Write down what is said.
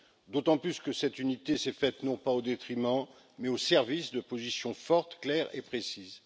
D'autant plus que cette unité s'est faite non pas au détriment, mais au service de positions fortes, claires et précises.